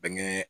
Bɛnkɛ